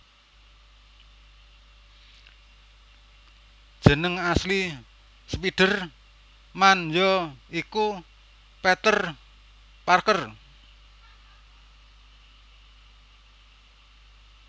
Jeneng asli spider man ya iku Peter Parker